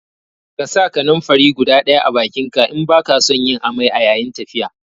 Ƙasa kananfari guda ɗaya a bakinka in baka son yin amai a yayin tafiya